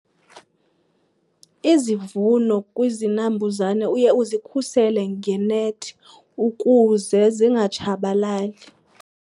Izivuno kwizinambuzane uye uzikhusele ngenethi ukuze zingatshabalali.